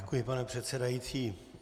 Děkuji, pane předsedající.